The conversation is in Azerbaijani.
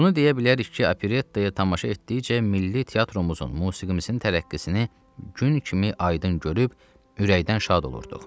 Bunu deyə bilərik ki, operettaya tamaşa etdikcə milli teatrumuzun musiqimizin tərəqqisini gün kimi aydın görüb ürəkdən şad olurduq.